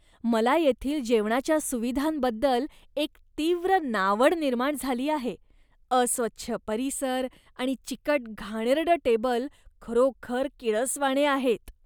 मला येथील जेवणाच्या सुविधांबद्दल एक तीव्र नावड निर्माण झाली आहे अस्वच्छ परिसर आणि चिकट घाणेरडं टेबल खरोखर किळसवाणे आहेत.